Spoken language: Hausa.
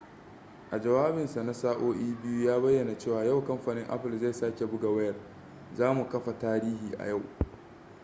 a jawabinsa na sa'o'i 2 ya bayyana cewa yau kamfanin apple zai sake buga wayar za mu kafa tarihi a yau